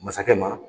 Masakɛ ma